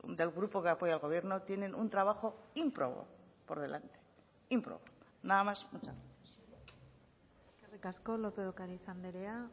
del grupo que apoya al gobierno tienen un trabajo ímprobo por delante ímprobo nada más muchas gracias eskerrik asko lópez de ocariz andrea